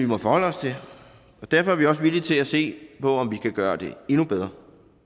må forholde os til derfor er vi også villige til at se på om vi kan gøre det endnu bedre